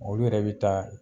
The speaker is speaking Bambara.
Olu yɛrɛ bi taa